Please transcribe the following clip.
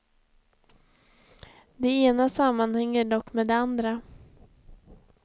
Det ena sammanhänger dock med det andra.